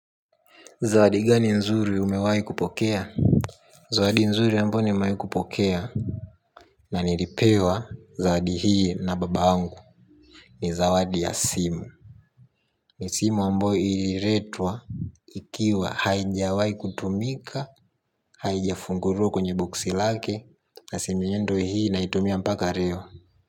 Zawadi gani nzuri umewai kupokea? Zawadi nzuri ambayo nimewai kupokea. Na nilipewa zawadi hii na baba yangu. Ni zawadi ya simu. Ni simu ambayo ililetwa. Ikiwa haijawai kutumika. Haijafunguliwa kwenye boksi lake. Na simu yenyewe ndio hii nahitumia mpaka leo.